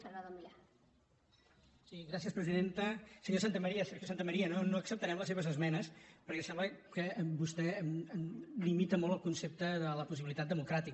senyor santamaría sergio santamaría no acceptarem les seves esmenes perquè sembla que vostè limita molt el concepte de la possibilitat democràtica